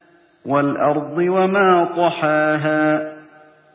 وَالْأَرْضِ وَمَا طَحَاهَا